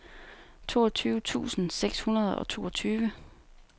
toogtyve tusind seks hundrede og toogtyve